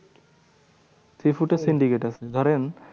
Sea food এর syndicate এর ধরেন